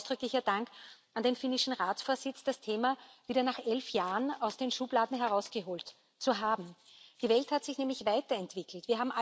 Deshalb ausdrücklicher Dank an den finnischen Ratsvorsitz, das Thema nach elf Jahren wieder aus den Schubladen herausgeholt zu haben. Die Welt hat sich nämlich weiterentwickelt.